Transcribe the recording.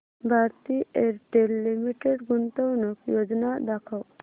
Bharti Airtel limited गुंतवणूक योजना दाखव